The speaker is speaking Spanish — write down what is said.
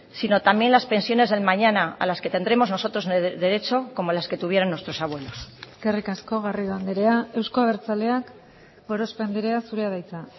sino también las pensiones del mañana a las que tendremos nosotros derecho como las que tuvieron nuestros abuelos eskerrik asko garrido andrea euzko abertzaleak gorospe andrea zurea da hitza